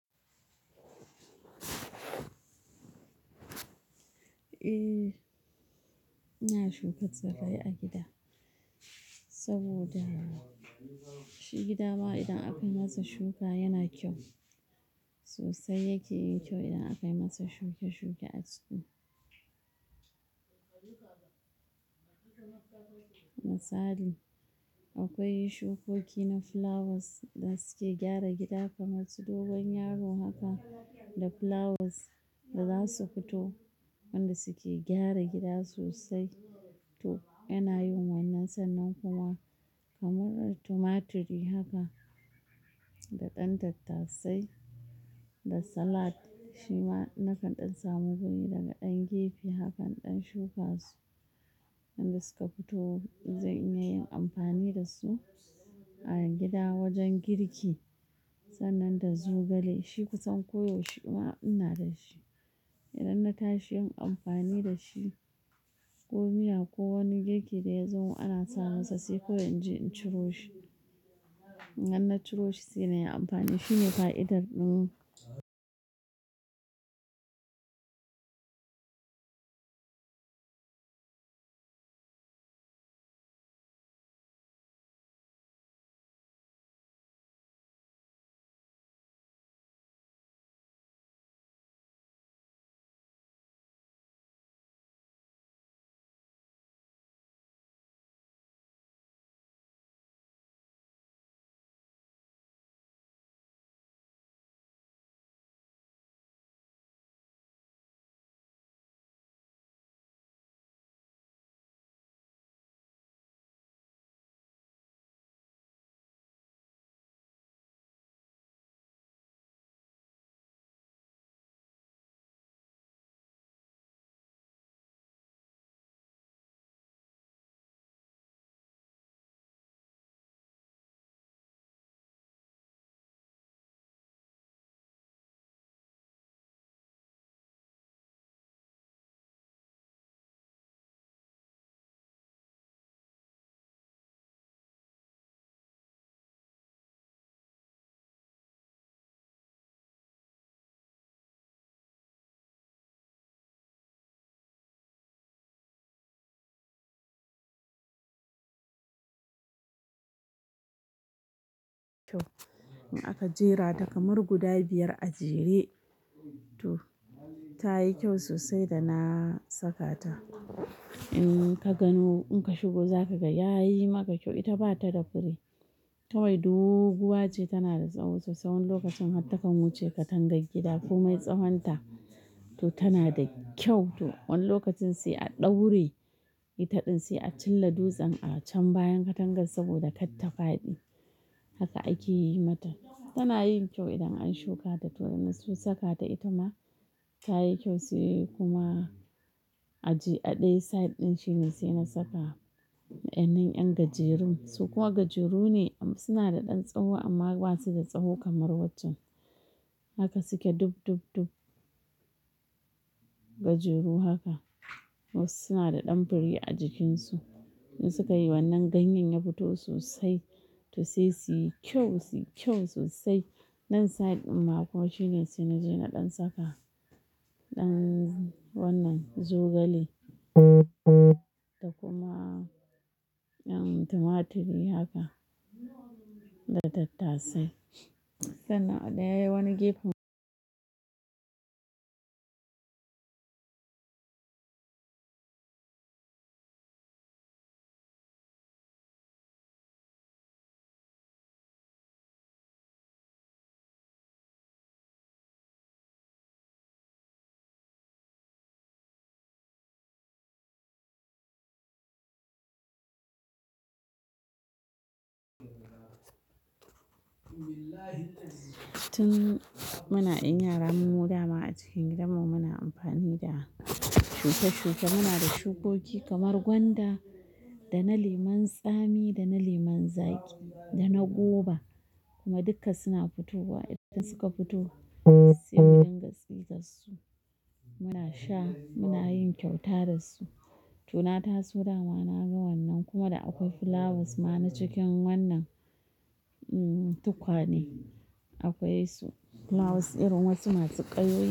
Eh ina shuka tsirrai a gida, saboda shi gida ma idan aka masa shuka yana kyau sosai yake yin kyau idan aka masa shuke shuke a ciki. Misali akwai shukoki na flowers da suke gyara gida kamar su dogon yaro haka da flowers da zasu futo wanda suke gyara gida sosai. To yana yin wannan sannan kuma kamar tumaturi haka da ɗan tatta sai da salad shi ma na kan ɗan samu guri daga ɗan gefe hakan ɗan shuka su, inda suka fito zan iya yin amfani da su a gida wajen girki sannan da zogale shi kusan ko yaushe ma ina da shi. Idan na tashi yin amfani da shi ko miya ko wani girki da ya zo ana masa sai kawai in je in ciro shi. Nan na ciro shi sai na yi amfani, shine fa'idar ɗin. Kyau in aka jera ta kamar guda biyar a jere to tayi kyau sosai da na saka ta. In ka gano in ka shigo za ka ga yayi maka kyau ita bata da fure. Kawai doo guwa ce tana da tsawo sosai wani lokaci takan wuce katangar gida komai tsawonta to tana da kyau wani lokacin sai a ɗaure ita ɗin sai a cilla dutsen a bayan katangar saboda kar ta faɗi haka ake yi mata tana yin kyau idan an shukata mun so saka ta itama tayi kyau a je a ɗe side ɗin shine sai na saka ƴan gajerun su kuwa gajeru ne suna da ɗan tsawo amma ba su da tsawo kamar waccen. Haka suke dub dub dub gajeru haka wasu suna da ɗan fure a jikinsu in suka yi wannan ganyen ya fito sosai to sai suyi kyau, suyi kyau sosai. Nan side ɗin ma kuwa shine sai na je na ɗan saka ɗan wannan zogale da kuma ƴan tumaturi haka da tattasai. Sannan a ɗaya wani gefen tun muna ƴan yara mu mu dama a cikin gidan mu muna amfani da shuke shuke muna da shukoki kamar gwanda da na lemon tsami, da na lemon zaƙi, da na goba kuma duka suna fitowa. Idan suka fito sai muɗin gaskiya su muna sha muna yin kyauta da su. To na taso dama na ga wannan kuma da akwai flowers ma na cikin wannan tukwane akwai su flowers irin wasu masu ƙayoyi.